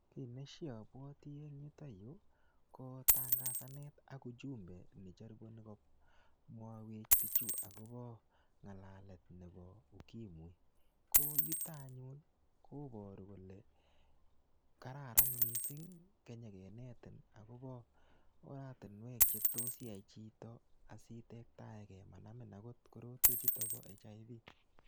Kiy neshabwoti eng yutoyu, ko tangasanet ak ujumbe necharibuni komwaiwech bichu akobo ng'alalet nebo ukimwi. Ko yutok anyun, koboru kole kararan missing kenyekenetin akobo oratinwek chetos iyae chito asitektaege manamin agot korotwek chutok bo HIV.